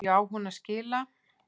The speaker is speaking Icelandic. Hverju á hún að skila?